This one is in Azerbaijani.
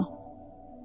Nə amma?